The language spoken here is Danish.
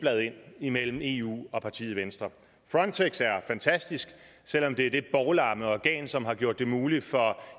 imellem eu og partiet venstre frontex er fantastisk selv om det er det bovlamme organ som har gjort det muligt for